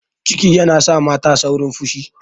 Ciki yana sa mata saurin fushi.